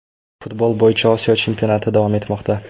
Futbol bo‘yicha Osiyo chempionati davom etmoqda.